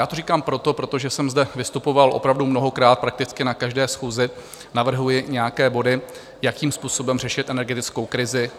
Já to říkám proto, protože jsem zde vystupoval opravdu mnohokrát, prakticky na každé schůzi navrhuji nějaké body, jakým způsobem řešit energetickou krizi.